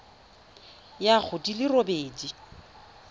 ya go di le robedi